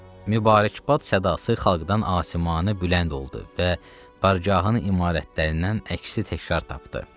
Mübarəkbad sədası xalqdan asimanə bülənd oldu və bərgahın imarətlərindən əksi təkrar tapdı.